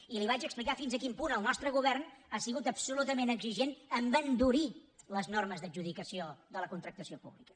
i li vaig explicar fins a quin punt el nostre govern ha sigut absolutament exigent amb endurir les normes d’adjudicació de la contractació pública